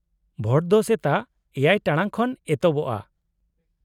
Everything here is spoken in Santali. -ᱵᱷᱳᱴ ᱫᱚ ᱥᱮᱛᱟᱜ ᱗ ᱴᱟᱲᱟᱝ ᱠᱷᱚᱱ ᱮᱛᱚᱦᱚᱵᱼᱟ ᱾